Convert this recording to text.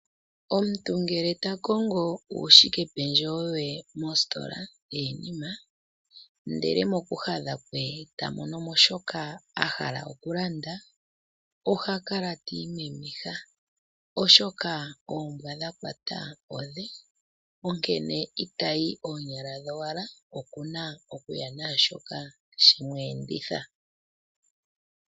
Omuntu ngele ta kongo uushike pendjewo we mositola yiinima ndele moku hadha kwe tamonomo shoka ahala okulanda oha kala ti imemeha, oshoka oombwa dhakwata odhe onkene itayi oonyala dhowala okuna okuya naashoka shemu edhitha.